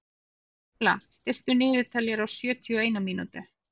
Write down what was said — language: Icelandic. Embla, stilltu niðurteljara á sjötíu og eina mínútur.